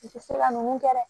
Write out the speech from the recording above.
U tɛ se ka ninnu kɛ dɛ